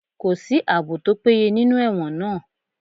Kò sí àbò tó péye nínú ẹ̀wọ̀n náà